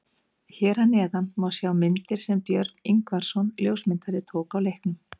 Hér að neðan má sjá myndir sem Björn Ingvarsson ljósmyndari tók á leiknum.